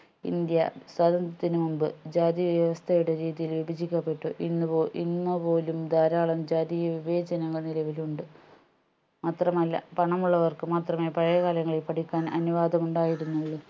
India സ്വത്രന്തത്തിന് മുമ്പ് ജാതിവ്യവസ്ഥയുടെ രീതിയിൽ വിഭജിക്കപ്പെട്ടു ഇന്ന്പോ ഇന്നുപോലും ധാരാളം ജാതിവിവേചനങ്ങൾ നിലവിലുണ്ട് മാത്രമല്ല പണമുള്ളവർക്ക് മാത്രമേ പഴയകാലങ്ങളിൽ പഠിക്കാൻ അനുവാദമുണ്ടായിരുന്നുള്ളു